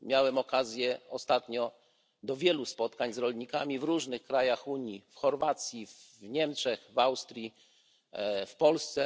Miałem ostatnio okazję do wielu spotkań z rolnikami w różnych krajach Unii w Chorwacji, w Niemczech, w Austrii, w Polsce.